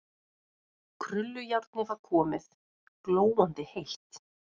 Krullujárnið var komið, glóandi heitt.